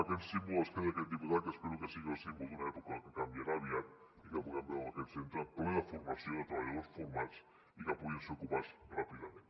amb aquest símbol es queda aquest diputat que espero que sigui el símbol d’una època que canviarà aviat perquè puguem veure aquest centre ple de formació de treballadors formats i que puguin ser ocupats ràpidament